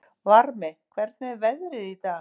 Varmi, hvernig er veðrið í dag?